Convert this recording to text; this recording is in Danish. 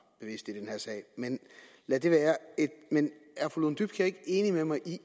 men lad det være men er fru lone dybkjær ikke enig med mig i